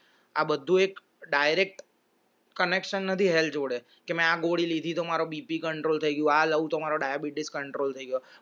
આ બધું એક direct connection નથી health જોડે મેં આ ગોળી લીધી જો મારુ BPcontrol થઈ ગયો આ લઉં તો diabetes control થઈ ગયો